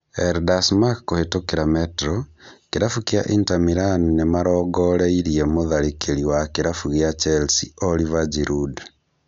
El Desmarque kũhetũkĩra Metro, kĩrabu kĩa Inter Milan nĩmarongereire mũtharĩkĩri wa kĩrabu kĩa Chelsea, Oliver Giroud.